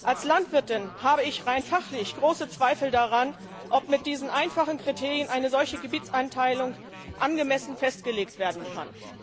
Als Landwirtin habe ich rein fachlich große Zweifel daran, ob mit diesen einfachen Kriterien eine solche Gebietseinteilung angemessen festgelegt werden kann.